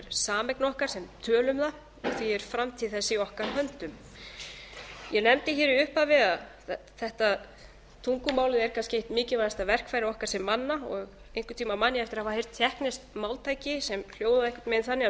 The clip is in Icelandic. sameign okkar sem tölum það því er framtíð þess í okkar höndum ég nefndi í upphafi að tungumálið væri kannski eitt mikilvægasta verkfærið okkar sem manna og einhvern tímann man ég eftir að hafa heyrt tékkneskt máltæki sem hljóðaði einhvern veginn þannig